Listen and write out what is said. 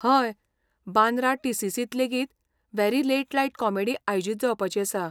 हय, बांद्रा टी.सी.सी. त लेगीत 'वॅरी लेट लायट कॉमेडी' आयोजीत जावपाची आसा.